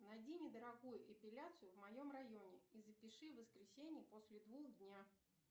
найди недорогую эпиляцию в моем районе и запиши в воскресенье после двух дня